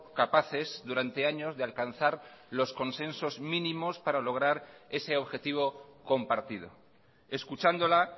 capaces durante años de alcanzar los consensos mínimos para lograr ese objetivo compartido escuchándola